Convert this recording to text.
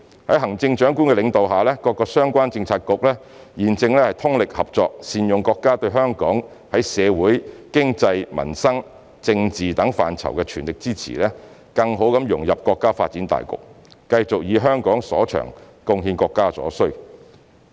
在行政長官領導下，各相關政策局正通力合作，善用國家對香港在社會、經濟、民生、政治等範疇的全力支持，更好地融入國家發展大局，繼續以香港所長，貢獻國家所需。